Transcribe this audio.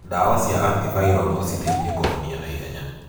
Ndawa cia anti viral no citeithie kũhonia naihenya.